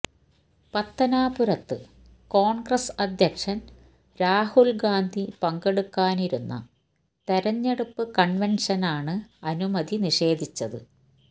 പത്തനാപുരത്ത് കോൺഗ്രസ് അധ്യക്ഷൻ രാഹുൽ ഗാന്ധി പങ്കെടുക്കാനിരുന്ന തെരഞ്ഞെടുപ്പ് കൺവെൻഷനാണ് അനുമതി നിഷേധിച്ചത്